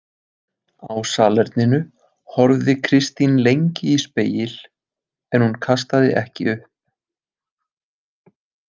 Á salerninu horfði Kristín lengi í spegil en hún kastaði ekki upp.